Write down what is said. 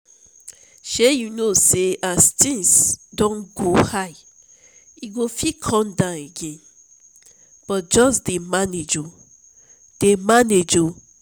shey you know say as things don go high e no fit come down again so just dey manage oo dey manage oo